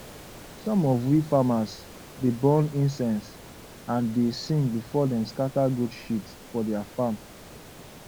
some of we farmers dey burn incense and dey sing before dem scatter goat shit for dia farm